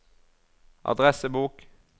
adressebok